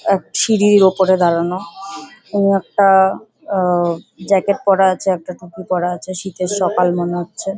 এক সিঁড়ির ওপরে দাঁড়ানো এবং একটা আ জ্যাকেট পরা আছে একটা টুপি পরা আছে শীতের সকাল মনে হচ্ছে ।